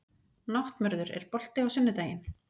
Náttmörður, er bolti á sunnudaginn?